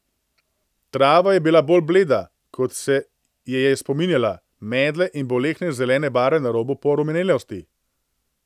Trava je bila bolj bleda, kot se je je spominjala, medle in bolehne zelene barve na robu porumenelosti.